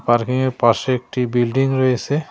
পার্কিংয়ের পাশে একটি বিল্ডিং রয়েছে।